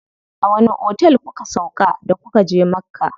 A wani otel kuka sauƙa da kuka je Makka?